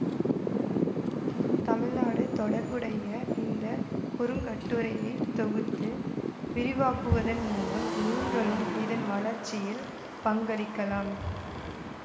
தமிழ்நாடு தொடர்புடைய இந்த குறுங்கட்டுரையை தொகுத்து விரிவாக்குவதன் மூலம் நீங்களும் இதன் வளர்ச்சியில் பங்களிக்கலாம்